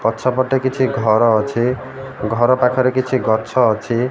ପଛ ପଟେ କିଛି ଘର ଅଛି ଘର ପାଖରେ କିଛି ଗଛ ଅଛି।